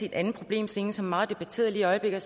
en anden problemstilling som er meget debatteret lige i øjeblikket